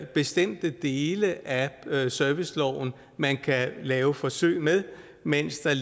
bestemte dele af serviceloven man kan lave forsøg med mens der